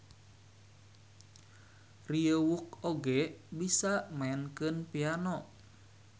Ryeowook oge bisa maenkeun piano.